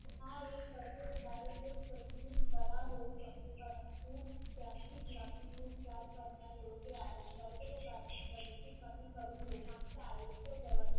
हा एक कर्करोग आहे जो बरा होऊ शकतो परंतु त्याची लक्षणे उपचार करणे योग्य आहे. कर्करोगाची प्रगती कमी करून लोकांचा आयुष्य